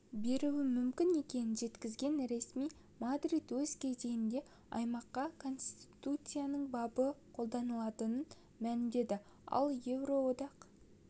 беруі мүмкін екенін жеткізген ресми мадрид өз кезегінде аймаққа конституцияның бабы қолданылатынын мәлімдеді ал еуроодоқ